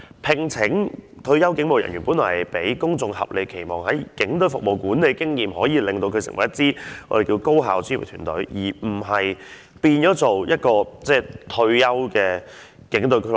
聘請退休警務人員，本來是要令公眾有合理期望，基於他們曾在警隊服務及有管理經驗，可以令這組別成為一支高效專業的團隊，而不是變成一個退休警員的俱樂部。